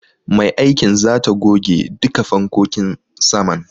Mai aikin zata goge duka fankokin saman.